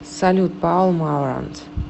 салют паул маурант